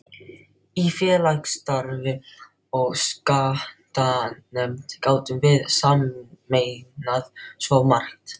Í félagsstarfi og skattanefnd gátum við sameinað svo margt.